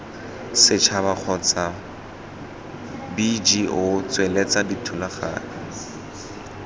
setšhaba kgotsa bgo tsweletsa dithulaganyo